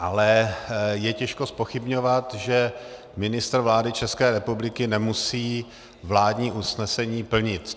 Ale je těžko zpochybňovat, že ministr vlády České republiky nemusí vládní usnesení plnit.